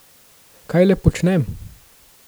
Kaj le počnem?